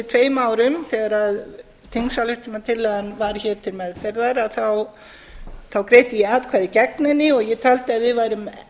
tveimur árum þegar þingsályktunartillagan var hér til meðferðar þá greiddi ég atkvæði gegn henni og ég taldi að við værum